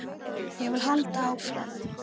Ég vil halda áfram.